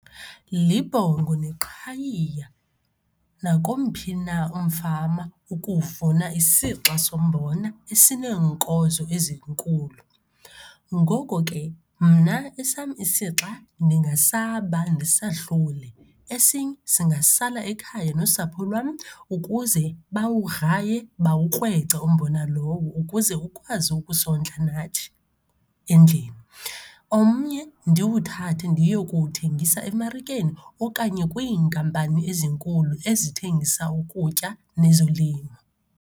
Libhongo neqhayiya nakomphi na umfama ukuvuna isixa sombona esineenkozo ezinkulu. Ngoko ke, mna esam isixa ndingasaba ndisahlule, esinye singasala ekhaya nosapho lwam ukuze bawugraye, bawukrwece umbona lowo ukuze ukwazi ukusondla nathi endlini. Omnye ndiwuthathe ndiye kuwuthengisa emarikeni okanye kwiinkampani ezinkulu ezithengisa ukutya nezolimo.